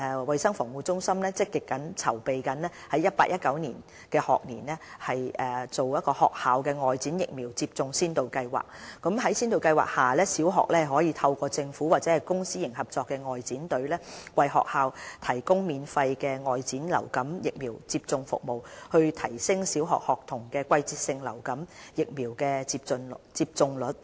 衞生防護中心正積極籌備於 2018-2019 學年推行學校外展疫苗接種先導計劃，在先導計劃下，小學可透過政府或公私營合作外展隊，為學校提供免費的外展流感疫苗接種服務，以期提升小學學童的季節性流感疫苗接種率。